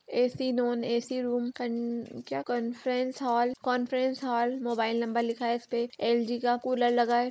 AC. Non AC. Room कन क्या conference hall conference hall mobile number लिखा है इस पे एल.जी. का कूलर लगा है।